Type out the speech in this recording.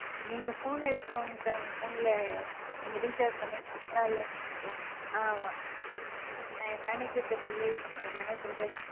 நீங்க Phone எடுத்துட்டு வாங்க Sir உங்க Phone ல நீங்க Recharge பண்ணிருக்கீங்களா? இல்லையான்னு தெரிஞ்சிடும் நான் என் Manager ட்ட சொல்லி அந்த Manager தான்,